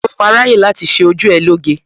Ṣé o máa ráyè láti ṣé ojú ẹ lóge?